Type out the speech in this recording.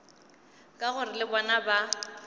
ka gore le bona ba